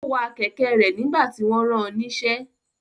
Ó wa kẹ̀kẹ́ rẹ̀ nígbà tí wọ́n ran níṣẹ́.